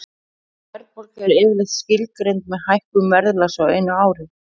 Verðbólga er yfirleitt skilgreind sem hækkun verðlags á einu ári.